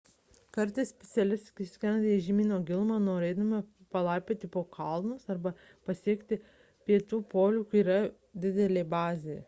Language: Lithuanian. kartais specialistai skrenda į žemyno gilumą norėdami palaipioti po kalnus arba pasiekti pietų polių kur yra didelė bazė